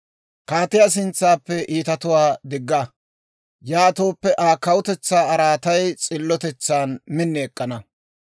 Kaatiyaa sintsappe iitatuwaa digga; yaatooppe, Aa kawutetsaa araatay s'illotetsan min ek'k'ana.